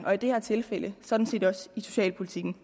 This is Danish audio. og i det her tilfælde sådan set også socialpolitikken